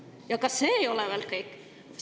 Ja ka see ei ole veel kõik!